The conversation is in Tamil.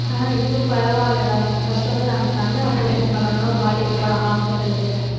ஆஹ் இப்ப பரவாயில்லைடா first வந்து நாங்க கண்ணு operation பண்ணணும் பாட்டிக்கு போனோம் ஹாஸ்பிடலுக்கு